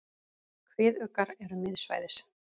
Kviðuggar eru miðsvæðis.